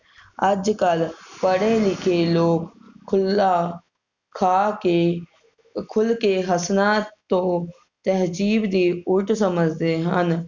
ਅੱਜ ਕਲ ਪੜ੍ਹੇ ਲਿਖੇ ਲੋਕ ਖੁਲ੍ਹਾ ਖਾ ਕੇ ਖੁਲ ਕੇ ਹਸਣਾ ਤੋਂ ਤਹਿਜੀਵ ਦੀ ਉਲਟ ਸਮਝਦੇ ਹਨ